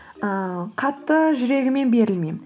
ыыы қатты жүрегіммен берілмеймін